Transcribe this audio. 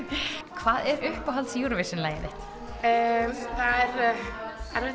hvað er uppáhalds Eurovision lagið þitt það er erfitt